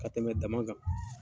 Ka tɛmɛ dama kan.